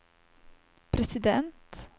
president